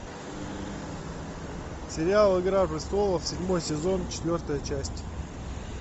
сериал игра престолов седьмой сезон четвертая часть